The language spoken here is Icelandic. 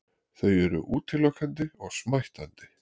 Þau eru útilokandi og smættandi.